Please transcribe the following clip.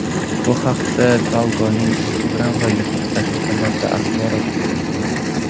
Bu haqda Talgo‘ning Instagram va YouTube sahifalarida axborot berilgan.